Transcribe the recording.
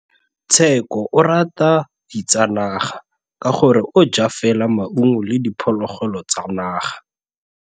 Tshekô o rata ditsanaga ka gore o ja fela maungo le diphologolo tsa naga.